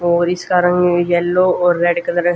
और इसका रंग है येलो और रेड कलर ।